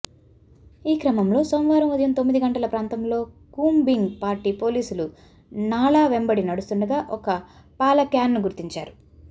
ఈక్రమంలో సోమవారం ఉదయం తొమ్మిది గంటల ప్రాంతంలో కూంబింగ్ పార్టీ పోలీసులు నాళా వెంబడి నడుస్తుండగా ఒక పాలక్యాన్ను గుర్తించారు